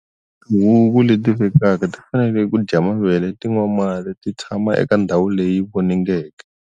Tihuku leti vekaka ti fanele ku dya mavele ti nwa mati ti tshama eka ndhawu leyi voningeke.